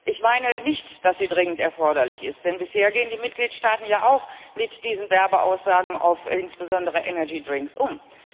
Ich meine nicht, dass sie dringend erforderlich ist, denn bisher gehen die Mitgliedstaaten ja auch mit diesen Werbeaussagen insbesondere auf Energydrinks um.